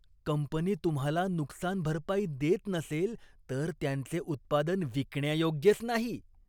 Company तुम्हाला नुकसान भरपाई देत नसेल तर त्यांचे उत्पादन विकण्यायोग्यच नाही.